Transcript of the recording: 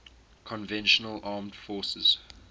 conventional armed forces